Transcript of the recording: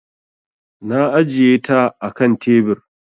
Na ajiye ta a kan tebir.